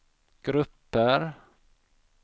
grupper